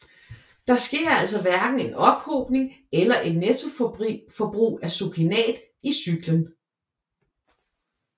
Der sker altså hverken en ophobning eller et nettoforbrug af succinat i cyklen